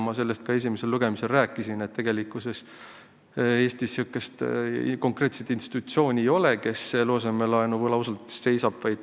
Ma sellest esimesel lugemisel juba rääkisin, et tegelikkuses Eestis sellist konkreetset institutsiooni ei ole, kes eluasemelaenu võlausaldajate eest seisab.